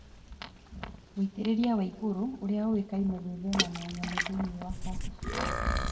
Woitĩrĩria wa igũrũ ũrĩa ũĩkaine gwĩthema na nyamũ thĩinĩ wa kabici